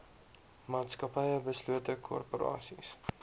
maatskappye beslote korporasies